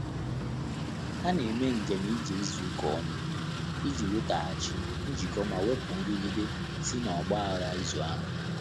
Há nà-émé njém íjé ízù ụ́ká ọ́nụ̀ ìjí nwètághàchí njìkọ́ mà wépụ̀ nrụ́gídé sí n’ọ́gbà ághá ízù áhụ́.